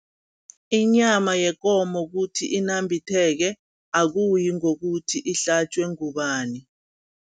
Inyama yekomo kuthi inambitheke, akuyi ngokuthi ihlatjwe ngubani.